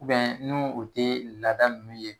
ni u te laada nunnu ye